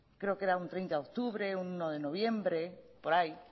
creo que era un treinta de octubre uno de noviembre por ahí